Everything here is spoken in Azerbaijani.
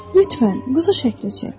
Lütfən, quzu şəkli çək.